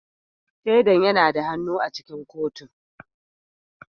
Shaidan yana da hannu a cikin kotun